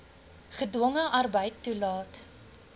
gedwonge arbeid toelaat